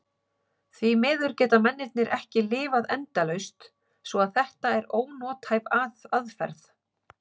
Því miður geta mennirnir ekki lifað endalaust svo að þetta er ónothæf aðferð.